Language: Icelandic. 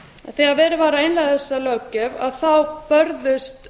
þegar verið var að innleiða þessa löggjöf þá börðust